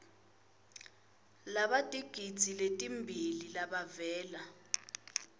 labatigidzi letimbili labavela